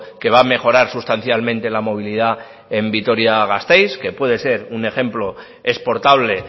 que va a mejorar sustancialmente la movilidad en vitoria gasteiz que puede ser un ejemplo exportable